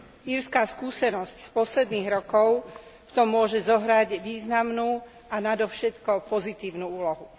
Írska skúsenosť z posledných rokov v tom môže zohrať významnú a nadovšetko pozitívnu úlohu.